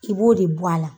I b'o de bɔ a la